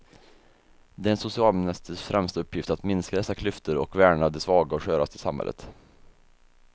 Det är en socialministers främsta uppgift att minska dessa klyftor och värna de svaga och sköraste i samhället.